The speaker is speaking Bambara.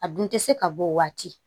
A dun tɛ se ka bɔ o waati